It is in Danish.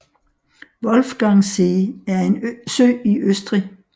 Wolfgangsee er en sø i Østrig